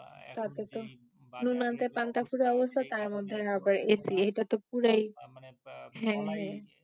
নুন আনতে পান্তা ফুরায় তার মধ্যে আবার AC এটা তো হ্যাঁ হ্যাঁ